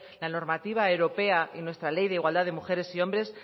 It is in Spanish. la normativa europea y nuestra ley de igualdad de mujeres y hombres